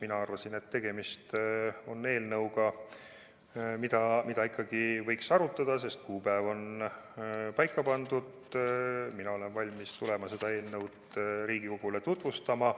Mina arvasin, et tegemist on eelnõuga, mida ikkagi võiks arutada, sest kuupäev on paika pandud, mina olen valmis tulema seda eelnõu Riigikogule tutvustama.